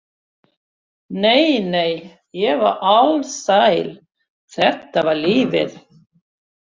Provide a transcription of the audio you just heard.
Nei, nei, ég var alsæl, þetta var lífið!